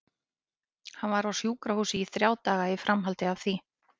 Hann var á sjúkrahúsi í þrjá daga í framhaldi af því.